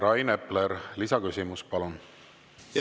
Rain Epler, lisaküsimus, palun!